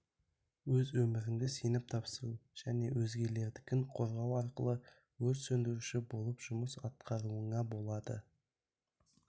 өз өміріңді сеніп тапсыру және өзгелердікін қорғау арқылы өрт сөндіруші болып жұмыс атқаруыңа болады